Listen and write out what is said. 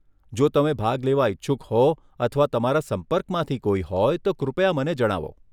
જો તમે ભાગ લેવા ઇચ્છુક હો અથવા તમારા સંપર્કમાંથી કોઈ હોય, તો કૃપયા મને જણાવો.